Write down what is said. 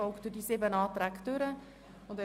Ich möchte die Debatte gerne wie folgt gestalten: